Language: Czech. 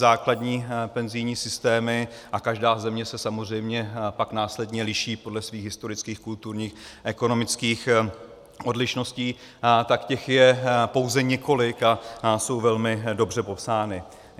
Základní penzijní systémy, a každá země se samozřejmě pak následně liší podle svých historických, kulturních, ekonomických odlišností, tak těch je pouze několik a jsou velmi dobře popsány.